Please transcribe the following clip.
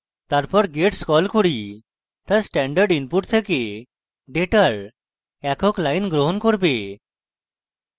তারপর gets call করি তা standard input then ডেটার একক line গ্রহণ করবে